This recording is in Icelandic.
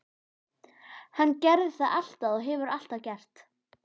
Hann gerði það alltaf og hefur alltaf gert.